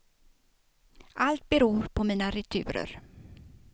Allt beror på mina returer.